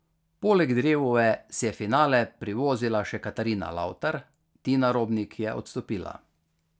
Poleg Drevove si je finale privozila še Katarina Lavtar, Tina Robnik je odstopila.